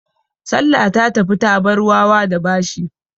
Salla ta tafi ta bar wawa da bashi.